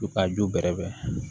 U ka ju bɛrɛ bɛn